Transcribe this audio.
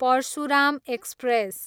Parshuram express